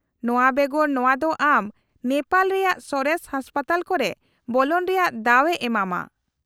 -ᱱᱚᱶᱟ ᱵᱮᱜᱚᱨ, ᱱᱚᱶᱟ ᱫᱚ ᱟᱢ ᱱᱮᱯᱟᱞ ᱨᱮᱭᱟᱜ ᱥᱚᱨᱮᱥ ᱦᱟᱥᱯᱟᱛᱟᱞ ᱠᱚᱨᱮ ᱵᱚᱞᱚᱱ ᱨᱮᱭᱟᱜ ᱫᱟᱣ ᱮ ᱮᱢᱟᱢᱟ ᱾